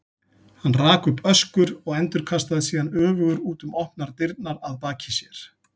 Hann rak upp öskur og endurkastaðist síðan öfugur út um opnar dyrnar að baki sér.